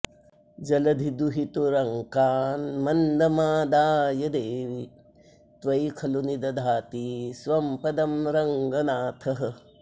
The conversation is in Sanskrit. जलधिदुहितुरङ्कान्मन्दमादाय देवि त्वयि खलु निदधाति स्वं पदं रङ्गनाथः